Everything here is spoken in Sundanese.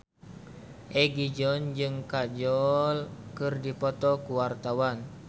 Egi John jeung Kajol keur dipoto ku wartawan